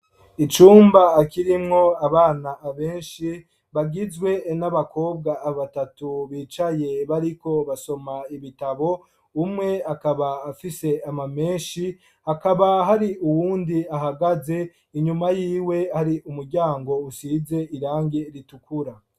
Icumba, kirimwo abana benshi, bagizwe n'abakobwa batatu, bicaye, bariko basoma ibitabo; umwe akaba, afise ama menshi, hakaba, hari uwundi, ahagaze; inyuma y'iwe, hari umuryango, usize irangi ritukura.